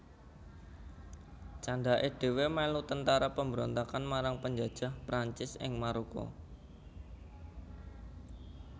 Candhaké dhèwèké mèlu tentara pemberontakan marang penjajah Prancis ing Maroko